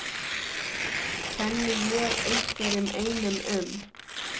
Kenni ég einhverjum einum um?